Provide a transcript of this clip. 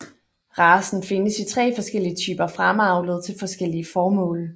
Racen findes i tre forskellige typer fremavlet til forskellige formål